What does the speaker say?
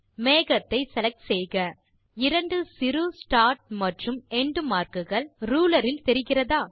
மேகத்தை செலக்ட் செய்க இரண்டு சிறு ஸ்டார்ட் மற்றும் எண்ட் மார்க் கள் ரூலர் இல் தெர்ரிகிறதா